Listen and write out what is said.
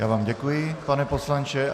Já vám děkuji, pane poslanče.